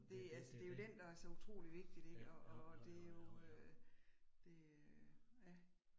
Det altså det jo den, der så utrolig vigtigt ik og og og det jo øh det øh ja